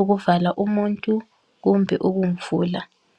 ukuvala umuntu kumbe ukumvula